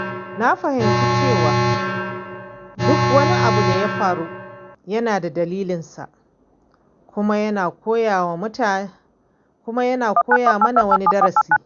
Na fahimci cewa duk wani abu da ya faru yana da dalilin sa kuma yana koya mana wani darasi.